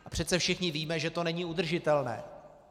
A přece všichni víme, že to není udržitelné.